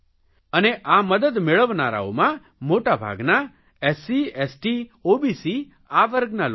અને આ મદદ મેળવનારાઓમાં મોટાભાગના એસસી એસટી ઓબીસી આ વર્ગના લોકો છે